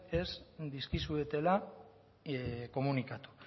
ez dizkizuetela komunikatu